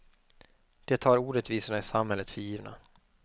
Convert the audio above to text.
De tar orättvisorna i samhället för givna.